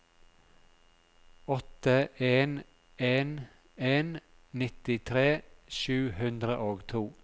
åtte en en en nittitre sju hundre og to